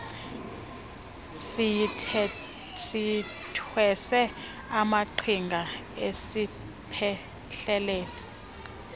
siyithwese amaqhinga siyiphehlelele